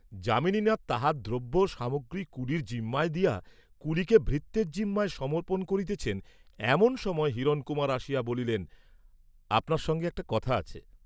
যামিনীনাথ তাঁহার দ্রব্য সামগ্রী কুলির জিম্মায় দিয়া, কুলিকে ভৃত্যের জিম্মায় সমর্পণ করিতেছেন এমন সময় হিরণকুমার আসিয়া বলিলেন আপনার সঙ্গে একটা কথা আছে।